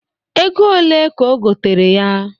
Ego one ka o gotere ya?